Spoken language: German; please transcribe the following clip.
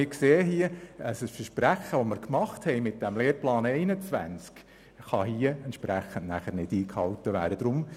Wir sehen, dass ein Versprechen zum Lehrplan 21 mit den vorgeschlagenen Massnahmen nicht eingehalten werden kann.